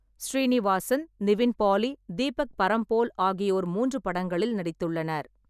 சீனிவாசன், நிவின் பாலி, தீபக் பரம்போல் ஆகியோர் மூன்று படங்களில் நடித்துள்ளனர்.